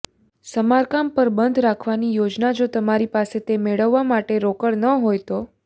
સમારકામ પર બંધ રાખવાની યોજના જો તમારી પાસે તે મેળવવા માટે રોકડ ન હોય તો